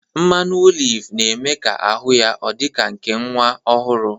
Mmanụ olive na-eme ahụ ya ọ dị ka nke nwa ọhụrụ